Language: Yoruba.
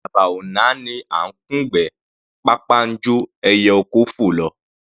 Àdàbà ò náání à ńkùn'gbẹ́; pápá ńjó ẹyẹ oko fò lọ.